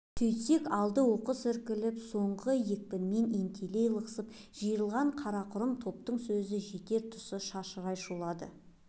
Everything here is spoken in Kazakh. сөйтейік алды оқыс іркіліп соңы екпінмен ентелей лықсып жиырылған қарақұрым топтың сөзі жетер тұсы шашырай шулады